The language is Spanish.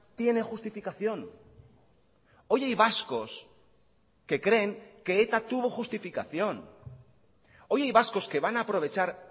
tiene justificación hoy hay vascos que creen que eta tuvo justificación hoy hay vascos que van a aprovechar